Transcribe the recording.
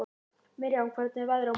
Miriam, hvernig er veðrið á morgun?